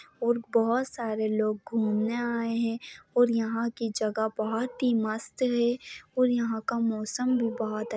और बहुत सारे लोग घूम ने आये है और यहा की जगह बहुत ही मस्त है और यहा का मोसम भी बहुत--